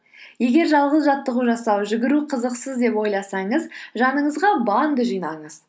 егер жалғыз жаттығу жасау жүгіру қызықсыз деп ойласаңыз жаныңызға банда жинаңыз